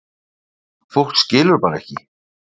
Fólk skilur bara ekki